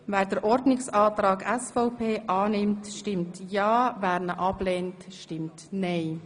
Wer den Ordnungsantrag SVP Amstutz annimmt, stimmt ja, wer ihn ablehnt, stimmt nein.